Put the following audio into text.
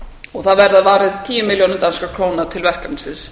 ári það verður varið tíu milljónum danskra króna til verkefnisins